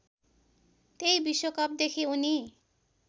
त्यही विश्वकपदेखि उनी